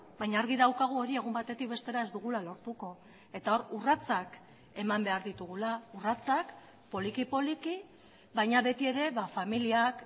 baina argi daukagu hori egun batetik bestera ez dugula lortuko eta hor urratsak eman behar ditugula urratsak poliki poliki baina beti ere familiak